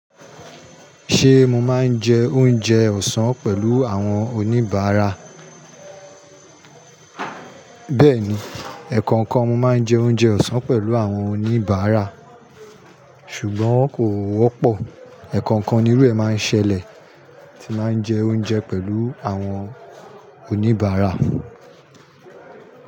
Ṣé mo máa ń jẹ oúnjẹ ọ̀sán pẹ̀lú àwọn oníbàárà? Bẹ́ẹ̀ni, ẹ̀ẹ̀kọ̀kan mo máa ń jẹ oúnjẹ ọ̀sán pẹ̀lú àwọn oníbàárà, ṣùgbọ́n kò wọ́pọ̀. Ẹ̀ẹ̀kọ̀kan nírú ẹ máa ń ṣẹlẹ̀ tí máa ń jẹ oúnjẹ pẹ̀lú àwọn oníbàárà.